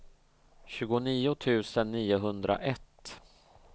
tjugonio tusen niohundraett